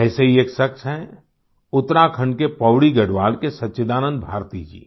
ऐसे ही एक शख्स हैं उत्तराखंड के पौड़ी गढ़वाल के सच्चिदानंद भारती जी